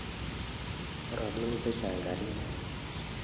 Bo robinik chechang karit ni